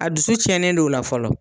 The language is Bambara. A dusu cɛnnen no o la fɔlɔ.